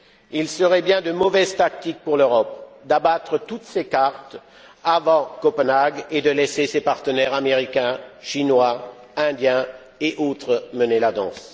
Il serait de bien mauvaise tactique pour l'Europe d'abattre toutes ses cartes avant Copenhague et de laisser ses partenaires américains, chinois, indiens et autres mener la danse.